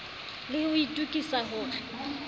le ho itokisa ho re